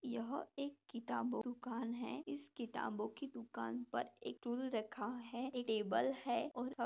यह एक किताबों दूकान है इस किताबों दुकान पर एक टूल रखा है टेबल है और--